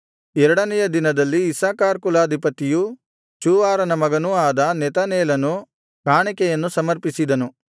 ಎರಡನೆಯ ದಿನದಲ್ಲಿ ಇಸ್ಸಾಕಾರ್ ಕುಲಾಧಿಪತಿಯೂ ಚೂವಾರನ ಮಗನೂ ಆದ ನೆತನೇಲನು ಕಾಣಿಕೆಯನ್ನು ಸಮರ್ಪಿಸಿದನು